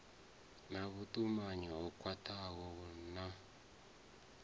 na vhutumanyi ho khwathaho na